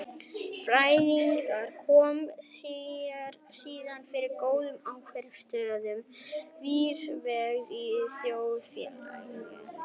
Fræðingarnir koma sér síðan fyrir í góðum áhrifamiklum stöðum víðsvegar í þjóðfélaginu.